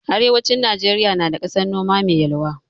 Arewacin Najeriya na da ƙasan noma mai yalwa.